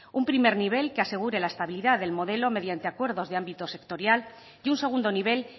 un primer nivel que asegure la estabilidad del modelo mediante acuerdos de ámbito sectorial y un segundo nivel